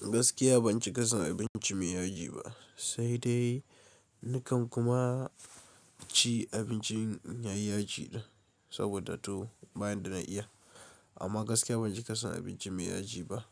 Gaskiya ban cika son abinci mai yaji ba, sai dai nakan kuma ci abinci mai yaji saboda to ba yanda na iya. Amma gaskiya ban ci kasan abinci mai yaji ba